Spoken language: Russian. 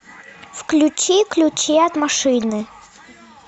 включи ключи от машины